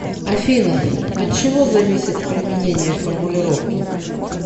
афина от чего зависит применение формулировки